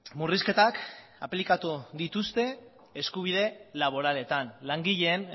murrizketak aplikatu dituzte eskubide laboraletan langileen